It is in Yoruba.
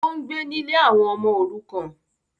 Ó ń gbé nílé àwọn ọmọ òrukàn